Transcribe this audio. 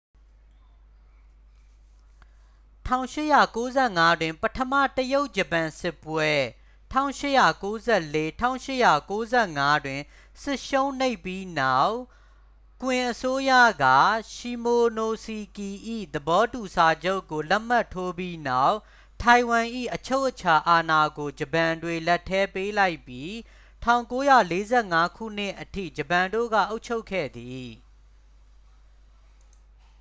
၁၈၉၅ တွင် ပထမ တရုတ်-ဂျပန်စစ်ပွဲ ၁၈၉၄-၁၈၉၅ တွင် စစ်ရှုံးနိမ့်ပြီးနောက် ကွင်အစိုးရက ရှီမိုနိုစီကီ၏ သဘောတူစာချုပ်ကို လက်မှတ်ထိုးပြီးနောက် ထိုင်ဝမ်၏ အချုပ်အချာအာဏာကို ဂျပန်တွေ လက်ထဲ ပေးလိုက်ပြီး ၁၉၄၅ ခုနှစ်အထိ ဂျပန်တို့က အုပ်ချုပ်ခဲ့သည်။